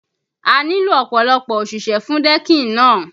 A nílò ọ̀pọ̀lọpọ̀ òṣìṣẹ́ fún decking náà